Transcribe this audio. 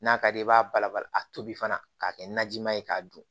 N'a ka di ye i b'a bala bala a tobi fana k'a kɛ najima ye k'a dun